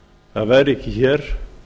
það væri ekki hér